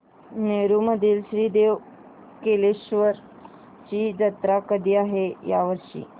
नेरुर मधील श्री देव कलेश्वर ची जत्रा कधी आहे या वर्षी